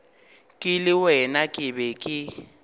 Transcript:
ke le wena ke be